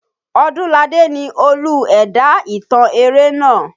Ọdúnládé ni olú ẹ̀dá ìtàn eré naa.